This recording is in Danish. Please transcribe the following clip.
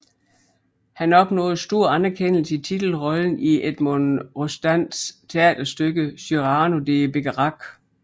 Han opnåede stor anerkendelse i titelrollen i Edmond Rostands teaterstykke Cyrano de Bergerac